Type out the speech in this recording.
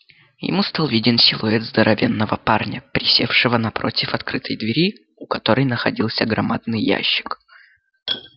ему стал виден силуэт здоровенного парня присевшего напротив открытой двери у которой находился громадный ящик